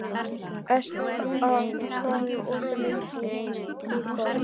Estefan, hvað er opið lengi í Byko?